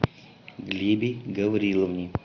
глебе гавриловне